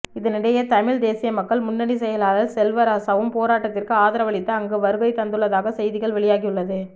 இதனிடையே தமிழ் தேசிய மக்கள் முன்னணி செயலாளர் செல்வராசாவும் போராட்டத்திற்கு ஆதரவளித்து அங்கு வருகை தந்துள்ளதாக செய்திகள் வெளியாகியுள்ளது